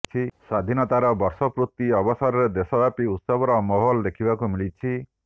ସ୍ୱାଧୀନତାର ବର୍ଷ ପୂର୍ତି ଅବସରରେ ଦେଶବ୍ୟାପୀ ଉତ୍ସବର ମାହୋଲ ଦେଖିବାକୁ ମିଳିଛି